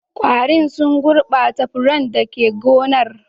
Ƙwarin sun gurbata furannin da ke gonar.